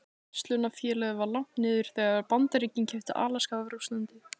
Verslunarfélagið var lagt niður þegar Bandaríkin keyptu Alaska af Rússlandi.